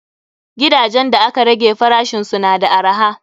Gidajen da aka rage farashisu na da arha.